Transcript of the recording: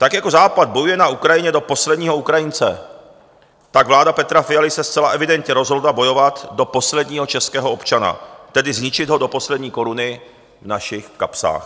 Tak jako Západ bojuje na Ukrajině do posledního Ukrajince, tak vláda Petra Fialy se zcela evidentně rozhodla bojovat do posledního českého občana, tedy zničit ho do poslední koruny v našich kapsách.